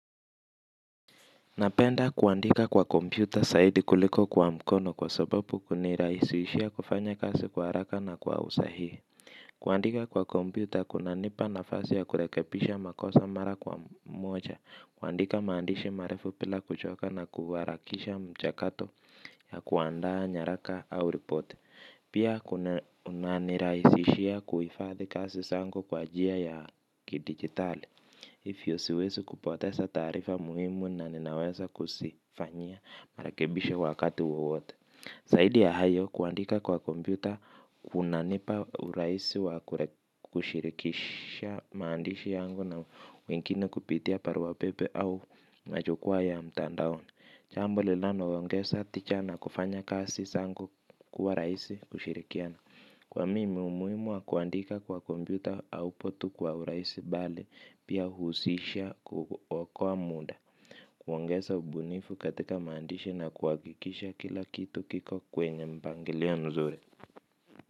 Napenda kuandika kwa kompyuta zaidi kuliko kwa mkono kwa sababu kunirahisishia kufanya kazi kwa haraka na kwa usahihi. Kuandika kwa kompyuta kuna nipa nafasi ya kurekebisha makosa mara kwa moja. Kuandika maandishi marefu bila kuchoka na kuharakisha mchakato ya kuandaa nyaraka au ripoti. Pia kuna nirahisishia kuhifadhi kazi zangu kwa njia ya kidigitali. Hivyo siwezi kupoteza taarifa muhimu na ninaweza kuzifanyia marekebisho wakati wowote. Zaidi ya hayo kuandika kwa kompyuta kunanipa urahisi wa kushirikisha maandishi yangu na wengine kupitia barua pepe au majukwaa ya mtandaoni jambo linalo ongeza tijana kufanya kazi zangu kuwa rahisi ushirikiana. Kwa mimi umuhimu wa kuandika kwa kompyuta hau potu kwa urahisi bali pia huhusisha kuokoa muda. Kuongeza ubunifu katika maandishi na kuhakikisha kila kitu kiko kwenye mpangilio mzuri.